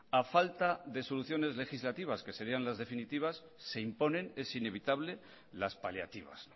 a falta de soluciones legislativas que serían las definitivas se imponen es inevitable las paliativas